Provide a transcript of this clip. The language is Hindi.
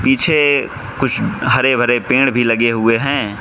पीछे कुछ हरे भरे पेड़ भी लगे हुए हैं।